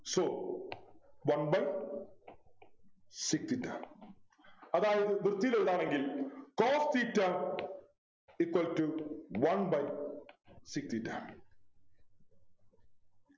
so one by sec theta അതായത് വൃത്തിയിൽ എഴുതാണെങ്കിൽ cos theta equal to one by sec theta